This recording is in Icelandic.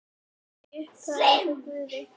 Hann var í upphafi hjá Guði.